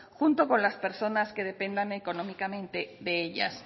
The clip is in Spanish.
junto con las personas que dependan económicamente de ellas